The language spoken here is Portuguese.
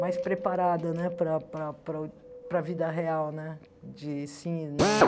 mais preparada né para para para para a vida real, né, de sim e não.